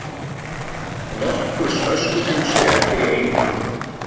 Nokkurs öskufjúks gætir í Eyjum